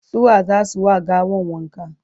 su wa zasu wa gawan wanka?